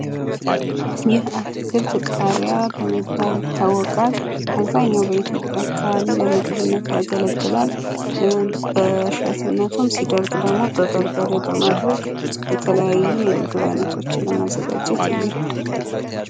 ይህ አትክልት ቃሪያ በመባል ይታወቃል። በአብዛኛው የኢትዮጵያ ክፍል ለምግብነት ያገለግላል በሸትነቱም ሲደርቅ ደግሞ በበርበሬ በማድረግ የተለያዩ የምግብ አይነቶች ለማዘጋጀት የሚረዳ።